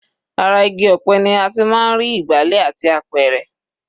Ara igi ọ̀pẹ ni a ti máa ń rí ìgbálẹ̀ àti apẹ̀rẹ̀.